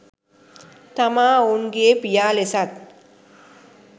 තමා ඔවුන්ගේ් පියා ලෙසත්